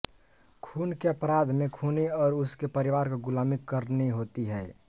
खून के अपराध में खूनी और उसके परिवार को गुलामी करनी होती है